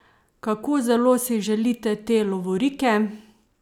Kako zelo si želite te lovorike?